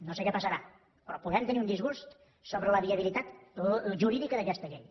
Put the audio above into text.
no sé què passarà però podem tenir un disgust sobre la viabilitat jurídica d’aquesta llei